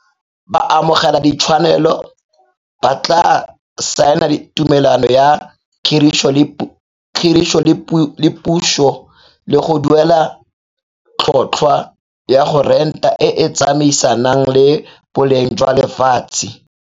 Baamogeladitshwanelo ba tla saena tumelano ya khiriso le puso le go duela tlhotlhwa ya go renta e e tsamaisanang le boleng jwa lefatshe.